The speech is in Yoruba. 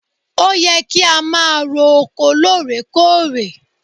Ó yẹ kí a máa ro oko lóòrékòrè!